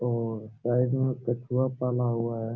और साइड में कछुआ पाला हुआ है।